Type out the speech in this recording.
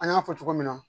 An y'a fɔ cogo min na